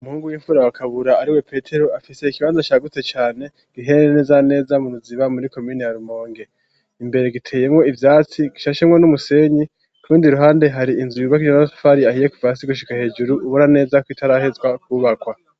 Umuhungu w'imfura wa Kabura ariwe petero, afise ikibanza cagutse cane giherereye neza neza mu Ruziba muri komine ya Rumonge. Imbere giteyemwo ivyatsi, gishashemwo n'umusenyi. K'urundi ruhande, har'inzu yubakishije amatafari ahiye kuva hasi gushika hejuru, ubona neza ko itaraheza kwubakwa.